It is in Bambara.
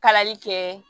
Kalali kɛ